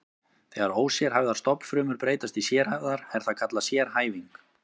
Þegar ósérhæfðar stofnfrumur breytast í sérhæfðar er það kallað sérhæfing.